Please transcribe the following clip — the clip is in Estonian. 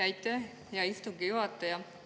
Aitäh, hea istungi juhataja!